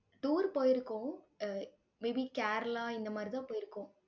tour போயிருக்கோம். அஹ் may be Kerala இந்த மாதிரிதான் போயிருக்கோம்.